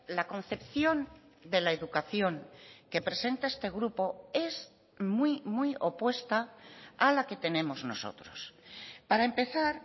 la concepción de la educación que presenta este grupo es muy muy opuesta a la que tenemos nosotros para empezar